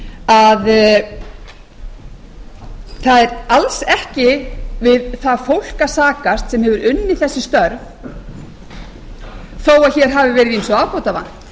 að það er alls ekki við það fólk að sakast sem hefur unnið þessi störf þó að hér hafi verið ýmsu